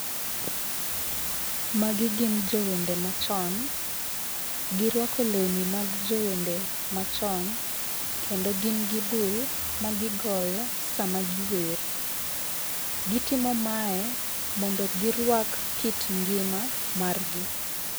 Magi gin jowende machon. Girwako lewni mag jowende machon, kendo gin gi bul magigoyo sama giwer. Gitimo mae mondo girwak kit ngima margi.